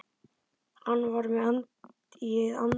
Hann var með í anda.